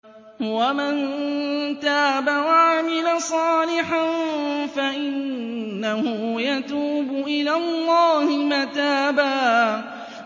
وَمَن تَابَ وَعَمِلَ صَالِحًا فَإِنَّهُ يَتُوبُ إِلَى اللَّهِ مَتَابًا